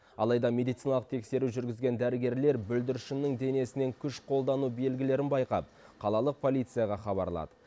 алайда медициналық тексеру жүргізген дәрігерлер бүлдіршіннің денесінен күш қолдану белгілерін байқап қалалық полицияға хабарлады